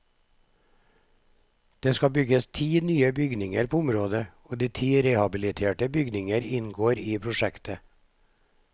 Det skal bygges ti nye bygninger på området, og ti rehabiliterte bygninger inngår i prosjektet.